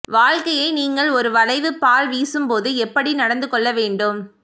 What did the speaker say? வாழ்க்கையை நீங்கள் ஒரு வளைவு பால் வீசும்போது எப்படி நடந்துகொள்ள வேண்டும்